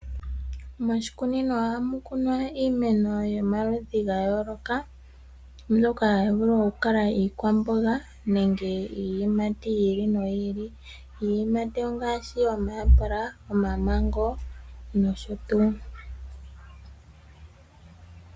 Moshikunino ohamu kunwa iimeno yomaludhi ga yooloka mbyoka hayi vulu oku kala iikwamboga nenge iiyimati yili motyili. Iiyimati ongaashi: omayapula, omamango nosho tuu.